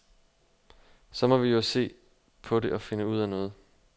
Så må vi jo se på det, og finde ud af noget.